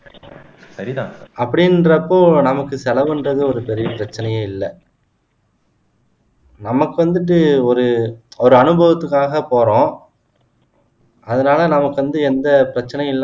அப்படின்றப்போ நமக்கு செலவு என்றது ஒரு பெரிய பிரச்சனையே இல்ல நமக்கு வந்துட்டு ஒரு ஒரு அனுபவத்துக்காக போறோம் அதனால நமக்கு வந்து எந்த பிரச்சினையும் இல்ல